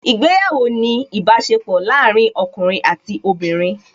Ìgbéyàwó ni ìbáṣepọ̀ láàárín ọkùnrin àti obìnrin